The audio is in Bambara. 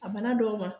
A bana dɔw ma